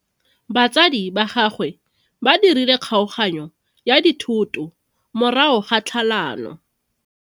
Batsadi ba gagwe ba dirile kgaoganyo ya dithoto morago ga tlhalano.